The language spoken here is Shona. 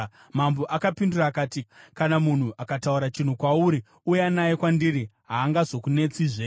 Mambo akapindura akati, “Kana munhu akataura chinhu kwauri, uya naye kwandiri, haangozokunetsizve.”